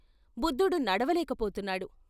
బుద్ధుడు నడవలేక పోతున్నాడు.